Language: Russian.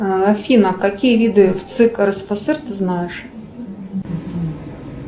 афина какие виды вцик рсфср ты знаешь